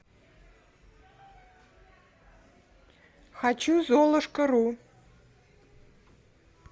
хочу золушка ру